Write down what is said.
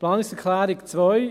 Planungserklärung 2: